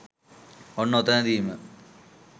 ඔන්න ඔතනදිම